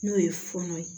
N'o ye fɔɔnɔ ye